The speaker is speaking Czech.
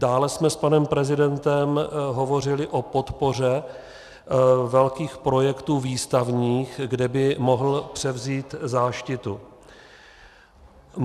Dále jsme s panem prezidentem hovořili o podpoře velkých projektů výstavních, kde by mohl převzít záštitu.